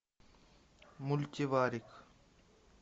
мультиварик